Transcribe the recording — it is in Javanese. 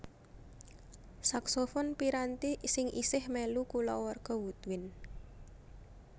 Saksofon piranti sing isih mèlu kulawarga woodwind